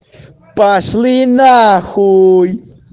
пошли нахуй